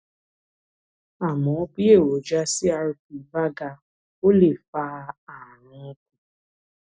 àmọ bí èròjà crp bá ga ó lè fa ààrùn